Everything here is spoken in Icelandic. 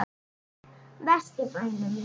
Vestur bænum.